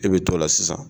I bɛ t'o la sisan